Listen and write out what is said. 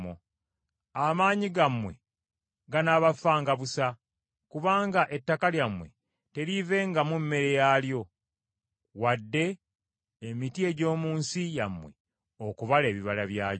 Amaanyi gammwe ganaabafanga busa, kubanga ettaka lyammwe teriivengamu mmere yaalyo, wadde emiti egy’omu nsi yammwe okubala ebibala byagyo.